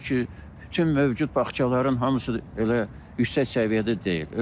Sözsüz ki, bütün mövcud bağçaların hamısı elə yüksək səviyyədə deyil.